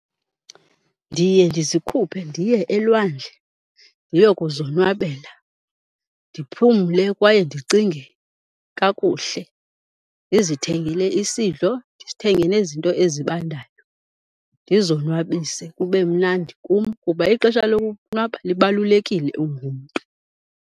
Ndiye ndizikhuphe ndiye elwandle ndiyokuzonwabela, ndiphumle kwaye ndicinge kakuhle. Ndizithengele isidlo, ndithenge nezinto ezibandayo ndizonwabise kube mnandi kum kuba ixesha lokonwaba libalulekile ungumntu.